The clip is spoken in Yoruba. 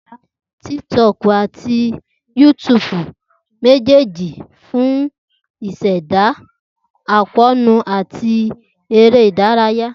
Tiktok ati YouTube jẹ mejeeji fun ṣiṣẹda akoonu ati ere idaraya.